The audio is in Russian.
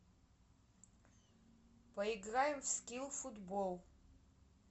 поиграем в скил футбол